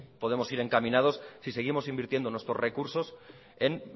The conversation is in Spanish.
podemos ir encaminados si seguimos invirtiendo nuestros recursos en